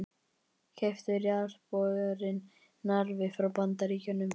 Keyptur jarðborinn Narfi frá Bandaríkjunum.